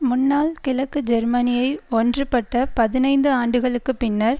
முன்னாள் கிழக்கு ஜேர்மனியை ஒன்றுபட்ட பதினைந்து ஆண்டுகளுக்குப்பின்னர்